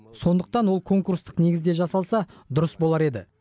сондықтан ол конкурстық негізде жасалса дұрыс болар еді